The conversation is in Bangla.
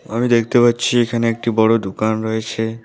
আমি দেখতে পাচ্ছি এখানে একটি বড় দোকান রয়েছে।